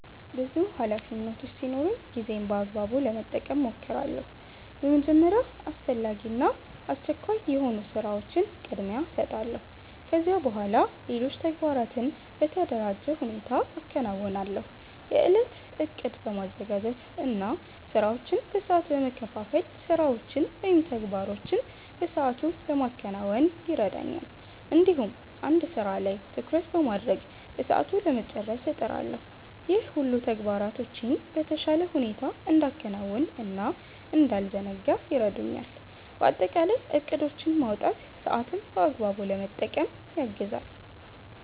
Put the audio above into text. ብዙ ኃላፊነቶች ሲኖሩኝ ጊዜዬን በአግባቡ ለመጠቀም እሞክራለሁ። በመጀመሪያ አስፈላጊ እና አስቸኳይ የሆኑ ስራዎችን ቅድሚያ እሰጣለሁ። ከዚያ በኋላ ሌሎች ተግባራትን በተደራጀ ሁኔታ አከናውናለሁ። የእለት እቅድ በማዘጋጀት እና ስራዎችን በሰዓት በመከፋፈል ስራዎችን ወይም ተግባሮችን በሰአቱ ለማከናወን ይረዳኛል። እንዲሁም አንድ ስራ ላይ ትኩረት በማድረግ በሰዓቱ ለመጨረስ እጥራለሁ። ይህ ሁሉ ተግባራቶቼን በተሻለ ሁኔታ እንዳከናውን እና እንዳልዘናጋ ይረዳኛል። በአጠቃላይ እቅዶችን ማውጣት ሰአትን በአግባቡ ለመጠቀም ያግዛል።